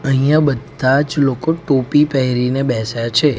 અહીંયા બધાજ લોકો ટોપી પહેરીને બેસા છે.